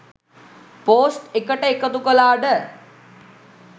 Post එකට එකතු කලාට.